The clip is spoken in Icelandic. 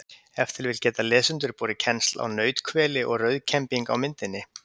Ef til vill geta lesendur borið kennsl á nauthveli og rauðkembing á myndinni.